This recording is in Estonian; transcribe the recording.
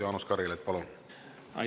Jaanus Karilaid, palun!